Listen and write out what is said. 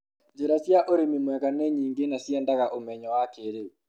njĩra cia ũrĩmi mwega ni nyingĩ na ciendaga ũmenyo wa kĩrĩu